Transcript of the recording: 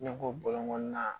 Ne ko na